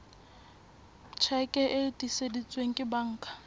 tjheke e tiiseditsweng ke banka